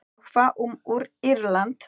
Og hvað um Írland?